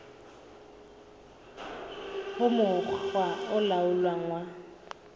ho mokga o laolang wa